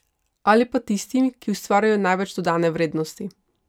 Ali pa tistim, ki ustvarjajo največ dodane vrednosti?